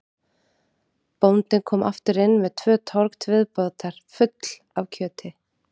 Bóndinn kom aftur inn með tvö trog til viðbótar full af kjöti.